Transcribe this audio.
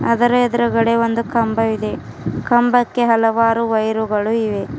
ಅದರ ಎದುರಗಡೆ ಒಂದು ಕಂಬವಿದೆ ಕಂಬಕ್ಕೆ ಹಲವಾರು ವೈರ್ರುಗಳು ಇವೆ.